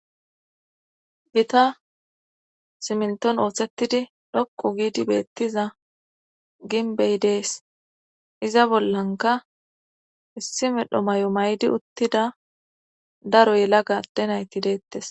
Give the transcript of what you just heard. Gita simintton ooththettidi dhokku giidi beettiza ginbbey dees. iza bollanka issi medho may'o mayidi uttida. daro yelaga adde nayti deettes.